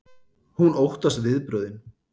Hún óttast viðbrögðin.